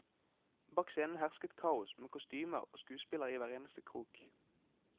Bak scenen hersket kaos, med kostymer og skuespillere i hver eneste krok.